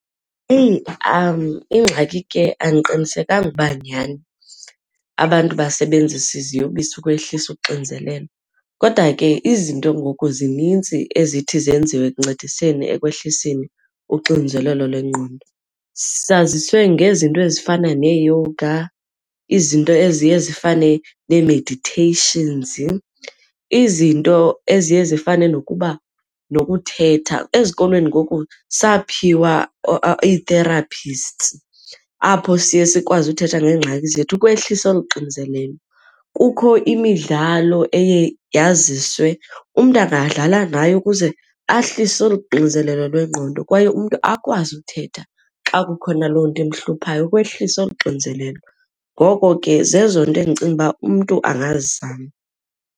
Eyi, ingxaki ke andiqinisekanga ukuba nyhani abantu basebenzisa iziyobisi ukwehlisa uxinzelelo kodwa ke izinto ngoku zinintsi ezithi zenziwe ekuncediseni ekwehliseni uxinzelelo lwengqondo. Saziswe ngezinto ezifana neeyoga, izinto eziye zifane nee-meditations, izinto eziye zifane nokuba nokuthetha. Ezikolweni ngoku saphiwa ii-therapists, apho siye sikwazi uthetha ngeengxaki zethu ukwehlisa olu xinzelelo. Kukho imidlalo eye yaziswe, umntu angadlala ngayo ukuze ahlise olu xinzelelo lwengqondo kwaye umntu akwazi uthetha xa kukhona loo nto imhluphayo ukwehlisa olu xinzelelo. Ngoko ke zezo nto endicinga uba umntu angazizama.